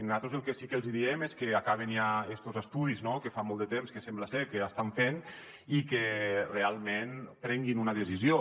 nosaltres el que sí que els hi diem és que acabin ja estos estudis no que fa molt de temps que sembla ser que estan fent i que realment prenguin una decisió